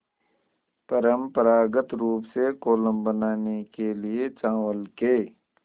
परम्परागत रूप से कोलम बनाने के लिए चावल के